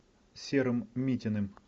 серым митиным